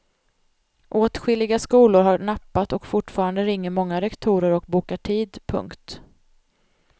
Åtskilliga skolor har nappat och fortfarande ringer många rektorer och bokar tid. punkt